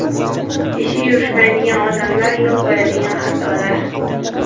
Ishi yurishmaydigan odamlar yo‘l qo‘yadigan xatolar.